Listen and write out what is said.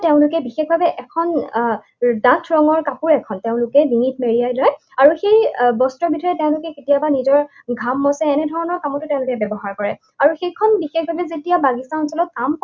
তেওঁলোকে বিশেষভাৱে এখন আহ ডাঠ ৰঙৰ কাপোৰ এখন তেওঁলোকে ডিঙিত মেৰিয়াই লয়, আৰু সেই বস্ত্ৰবিধেৰে তেওঁলোকে কেতিয়াবা নিজৰ ঘাম মচে। এনেধৰণৰ কামতো তেওঁলোকে ব্যৱহাৰ কৰে। আৰু সেইখন বিশেষভাৱে যেতিয়া বাগিচা অঞ্চলত